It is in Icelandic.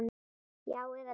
Já eða nei?